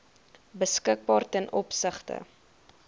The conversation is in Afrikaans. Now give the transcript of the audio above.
beskikbaar ten opsigte